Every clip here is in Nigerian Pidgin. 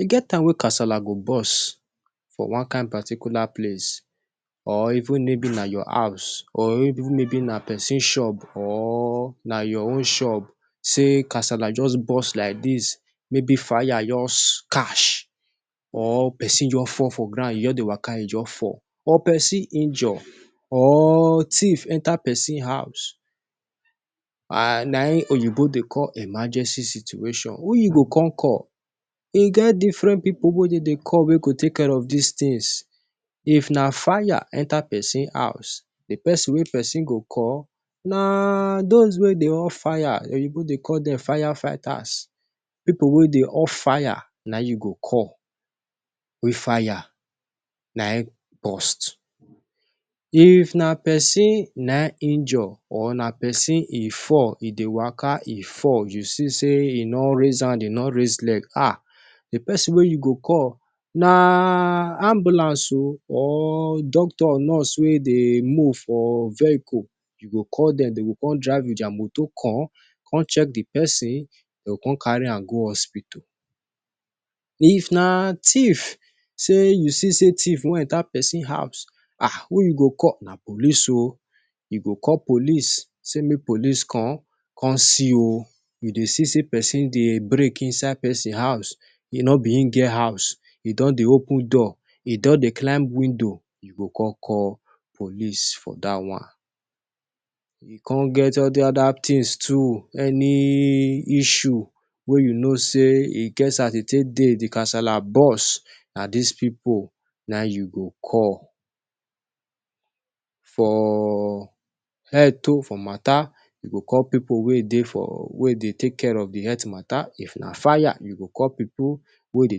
E get time wey kasala go burst for one kain particular place or even maybe na your house or maybe na pesin shop or na your own shop say kasala just burst like dat, maybe fire just catch or pesin just fall for ground. You just dey waka, you just fall. Or pesin injure, or thief enta pesin house. Na im Oyinbo dey call emergency situation. Who you go come call? E get diffren pipu wey dem dey call wey go take care of dis tins. If na fire enter pesin house, di pesin wey you go call na those wey dey off fire, Oyinbo dey call dem fire fighters, pipu wey dey off fire na dem you go call wen fire na im burst. If na pesin na im injure or na pesin e fall, e dey waka, e fall, you see say e no raise hand, e no raise leg, ah, di pesin wey you go call na ambulance o, or doctor, or nurse wey dey move for vehicle. You go call dem. Dem go come drive wit dia moto come check di pesin. Dem go come carry am go hospital. If na thief say you see say thief wan enta pesin house, ah, wetin you go call na police o. You go call police say make police come. "Come see o, we dey see say pesin dey break inside pesin house. E no be am get house. E don dey open door, e don dey climb window." You go come call police for dat one. E come get all di oda tins too. Any issue wey you know say e get as e take dey, di kasala burst, na dis kain pipu na you go call. For health matta, you go call pipu wey dey take care of di health matta. If na fire, you go call pipu wey dey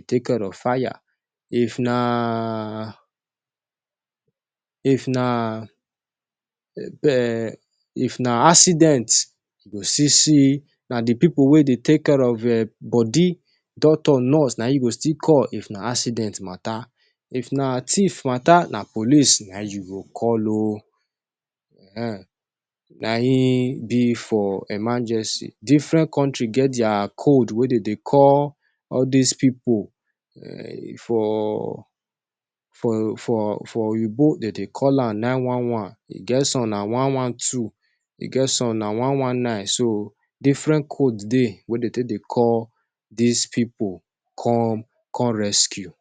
take care of fire. If na accident, you go see say na di pipu wey dey take care of bodi, doctor, nurse, na dem you go still call. If na thief matta, na police na im you go call o. Ehen, na so e be for emergency. Diffren kontri get dia code wey dem dey take call all dis pipu wey go come rescue. For Oyinbo dem, dem dey call am nine one one. E get some wey be one one two. E get some wey be one one nine. So, diffren code dey wey dem dey take dey call dis pipu come come rescue.